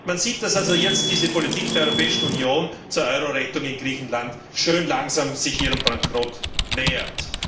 Man sieht, dass sich also jetzt die Politik der Europäischen Union zur Euro Rettung in Griechenland schön langsam ihrem Bankrott nähert.